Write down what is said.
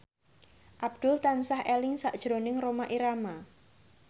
Abdul tansah eling sakjroning Rhoma Irama